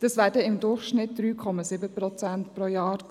Diese lagen im Durchschnitt bei 3,7 Prozent pro Jahr.